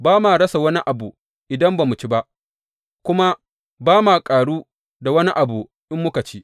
Ba ma rasa wani abu idan ba mu ci ba, kuma ba ma ƙaru da wani abu in muka ci.